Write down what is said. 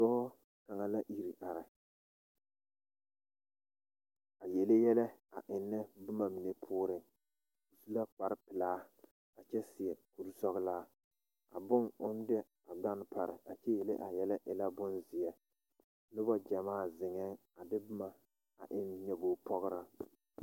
Pɔɡɔ kaŋa la a iri are a yele yɛlɛ a ennɛ noba pooriŋ o su la kparpelaa kyɛ seɛ kursɔɔlaa a bone oŋ de a ɡane pare kyɛ yele a yɛlɛ e la bonzeɛ noba ɡyamaa zeŋɛŋ a de boma a eŋ nyoboɡi pɔɡraa.